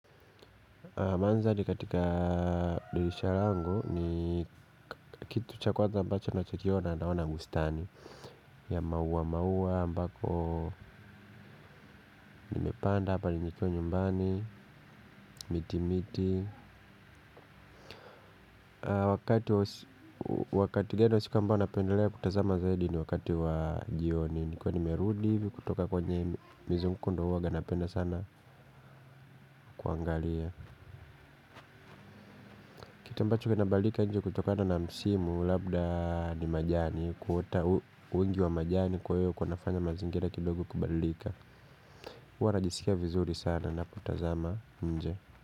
Mandhari katika dirisha langu ni kitu cha kwanza ambacho ninachokiona naona bustani, ya maua maua ambako nimepanda hapa nikiwa nyumbani, miti miti. Wakati gani wa siku ambao napendelea kutazama zaidi? Ni wakati wa jioni. Nikiwa nimerudivi kutoka kwenye mizunguko ndio huwanga napenda sana kuangalia. Kitu ambacho kina badilika nje kutokana na msimu labda ni majani. Kuota wingi wa majani kwa hio kunafanya mazingira kidogo kubadilika. Huwa najisikia vizuri sana ninapotazama nje.